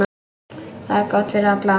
Það er gott fyrir alla.